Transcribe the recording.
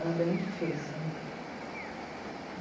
Era bem difícil.